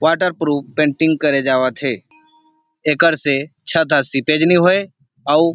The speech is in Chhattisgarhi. वाटर प्रूफ पेंटिंग करे जावत हे एखर से छत हा सीपेज होए अउ --